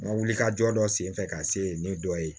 N ka wulikajɔ dɔ senfɛ ka se ni dɔ ye